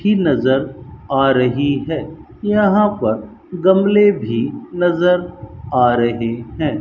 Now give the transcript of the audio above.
ही नजर आ रही है यहां पर गमले भी नजर आ रहे हैं।